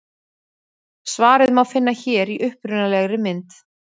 Svarið má finna hér í upprunalegri mynd.